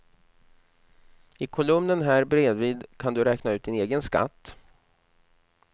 I kolumnen här bredvid kan du räkna ut din egen skatt.